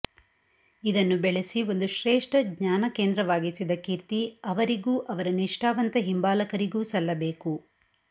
ಇದನ್ನು ಬೆಳೆಸಿ ಒಂದು ಶ್ರೇಷ್ಠ ಜ್ಞಾನ ಕೇಂದ್ರವಾಗಿಸಿದ ಕೀರ್ತಿ ಅವರಿಗೂ ಅವರ ನಿಷ್ಠಾವಂತ ಹಿಂಬಾಲಕರಿಗೂ ಸಲ್ಲಬೇಕು